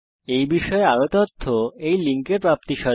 এই বিষয় বিস্তারিত তথ্য এই লিঙ্ক এ প্রাপ্তিসাধ্য